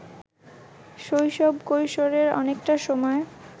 শৈশব-কৈশোরের অনেকটা সময়